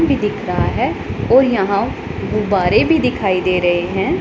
भी दिख रहा है और यहां गुब्बारे भी दिखाई दे रहे हैं।